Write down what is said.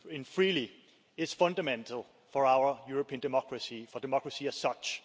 freely is fundamental for our European democracy, for democracy as such.